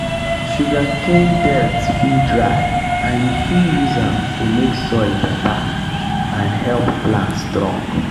sugarcane dirt fit dry and you fit use am to make soil better and help plant strong.